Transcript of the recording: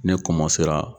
Ne